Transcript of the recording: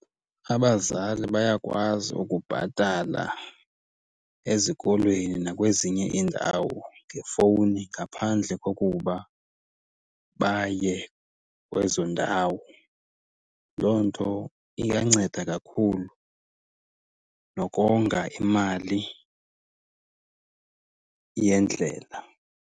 Abazali bayakwazi ukubhatala ezikolweni nakwezinye iindawo ngefowuni ngaphandle kokuba baye kwezo ndawo. Loo nto iyanceda kakhulu nokonga imali yendlela.